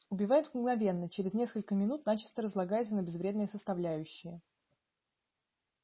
убивает мгновенно через несколько минут начисто разлагается на безвредные составляющие